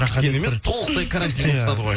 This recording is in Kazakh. кішкене емес толықтай карантин қылып тастады ғой